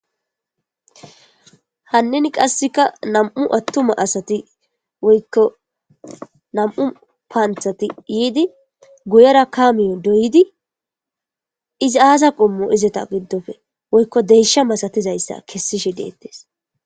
hannin qasseka nam7u attuma asati woykko nam7u paanthati yiidi guyera kaamiyo doydi izi aasa qommo izeta giddofe woykko deysha masatizayssa kessishe deettes